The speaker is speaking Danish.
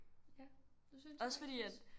Ja det synes jeg faktisk